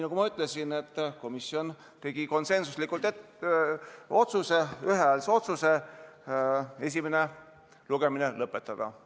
Nagu ütlesin, tegi komisjon ühehäälse otsuse esimene lugemine lõpetada.